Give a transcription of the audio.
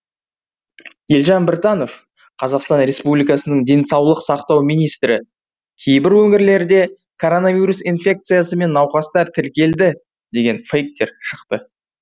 елжан біртанов қазақстан республикасының денсаулық сақтау министрі кейбір өңірлерде коронавирус инфекциясымен науқастар тіркелді деген фейктер шықты